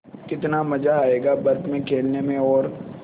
कितना मज़ा आयेगा बर्फ़ में खेलने में और